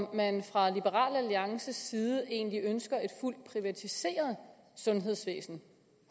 om man fra liberal alliances side egentlig ønsker et fuldt privatiseret sundhedsvæsen